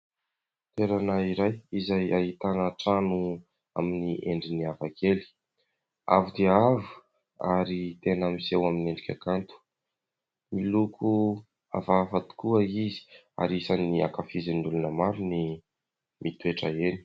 Toerana iray izay ahitana trano amin'ny endriny hafakely. Avo dia avo ary tena miseho amin'ny endrika kanto. Miloko hafahafa tokoa izy ary isan'ny ankafizin'ny olona maro ny mitoetra eny.